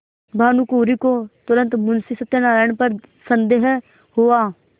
भानुकुँवरि को तुरन्त मुंशी सत्यनारायण पर संदेह हुआ